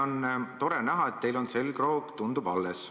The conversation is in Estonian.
On tore näha, et teil on selgroog, tundub, alles.